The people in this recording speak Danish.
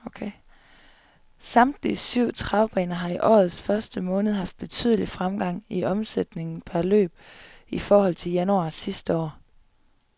Samtlige syv travbaner har i årets første måned haft betydelig fremgang i omsætningen per løb i forhold til januar sidste år.